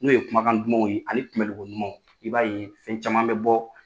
N'o ye kumakan dumanw ye ani kunbɛli ko ɲumanw, i b'a ye fɛn caman bɛ bɔ